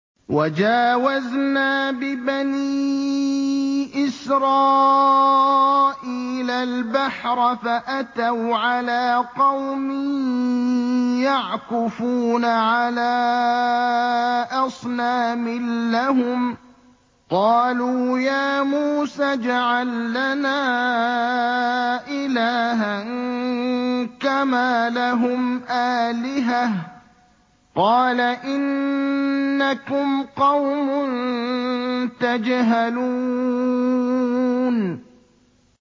وَجَاوَزْنَا بِبَنِي إِسْرَائِيلَ الْبَحْرَ فَأَتَوْا عَلَىٰ قَوْمٍ يَعْكُفُونَ عَلَىٰ أَصْنَامٍ لَّهُمْ ۚ قَالُوا يَا مُوسَى اجْعَل لَّنَا إِلَٰهًا كَمَا لَهُمْ آلِهَةٌ ۚ قَالَ إِنَّكُمْ قَوْمٌ تَجْهَلُونَ